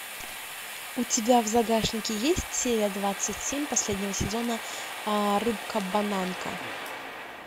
у тебя в загашнике есть серия двадцать семь последнего сезона рыбка бананка